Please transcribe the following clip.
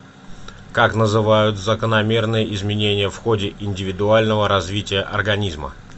как называют закономерные изменения в ходе индивидуального развития организма